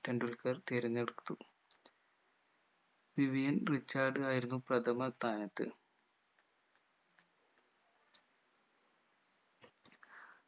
ടെണ്ടുൽക്കർ തിരഞ്ഞെടുത്തു Vivian Richard ആയിരുന്നു പ്രഥമ സ്ഥാനത്ത്